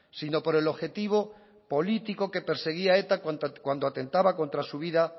sino por el objetivo político que perseguía eta cuando atentaba contra su vida